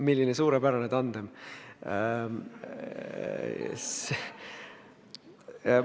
Milline suurepärane tandem!